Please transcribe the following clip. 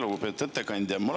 Lugupeetud ettekandja!